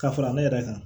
Ka fara ne yɛrɛ kan